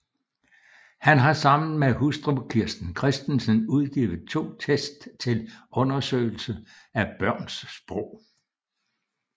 Han har sammen med hustru Kirsten Kristensen udgivet to test til undersøgelse af børns sprog